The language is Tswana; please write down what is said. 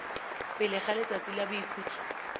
pele ga letsatsi la boikhutso